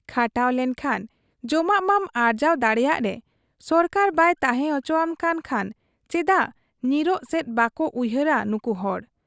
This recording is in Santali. ᱠᱷᱟᱴᱟᱣ ᱞᱮᱱᱠᱷᱟᱱ ᱡᱚᱢᱟᱜ ᱢᱟᱢ ᱟᱨᱡᱟᱣ ᱫᱟᱲᱮᱭᱟᱜ ᱨᱮ ᱥᱚᱨᱠᱟᱨ ᱵᱟᱭ ᱛᱟᱦᱮᱸ ᱚᱪᱚᱣᱟᱜ ᱠᱟᱱ ᱠᱷᱟᱱ ᱪᱮᱫᱟᱜ ᱧᱤᱨᱚᱜ ᱥᱮᱫ ᱵᱟᱠᱚ ᱩᱭᱦᱟᱹᱨᱮᱫ ᱟ ᱱᱩᱠᱩ ᱦᱚᱲ ?